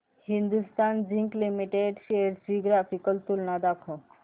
Hindustan Zinc Limited shares ची graphical तुलना दाखव